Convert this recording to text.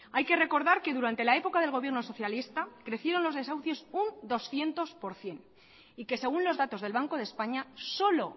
hay que recordar que durante la época del gobierno socialista crecieron los desahucios un doscientos por ciento y que según los datos del banco de españa solo